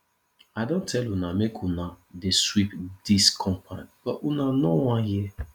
i don tell una make una dey sweep dis compound but una no wan hear